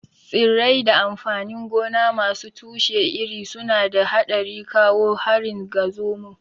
Tsirrai da amfanin gona masu tushe iri suna da haɗari kawo harin ga zomo.